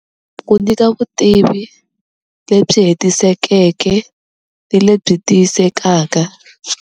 Ku nyika vutivi lebyi hetisekeke ni lebyi tiyisekaka.